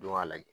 Don ka lajɛ